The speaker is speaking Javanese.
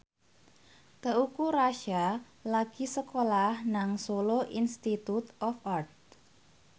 Teuku Rassya lagi sekolah nang Solo Institute of Art